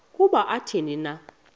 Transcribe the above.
nokuba athini na